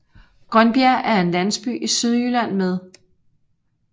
Grønbjerg er en landsby i Sydjylland med